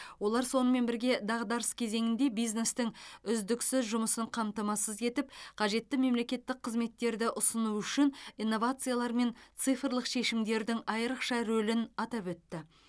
олар сонымен бірге дағдарыс кезеңінде бизнестің үздіксіз жұмысын қамтамасыз етіп қажетті мемлекеттік қызметтерді ұсыну үшін инновациялар мен цифрлық шешімдердің айрықша рөлін атап өтті